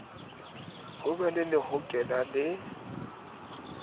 ho be le lehokela le